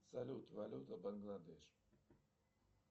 салют валюта бангладеш